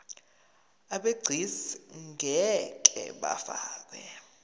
abegcis ngeke bafakwa